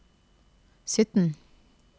sytten